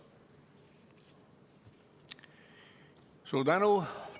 Suur tänu!